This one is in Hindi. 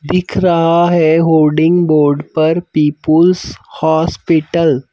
दिख रहा हैहोल्डिंग बोर्ड पर पीपल्स हॉस्पिटल।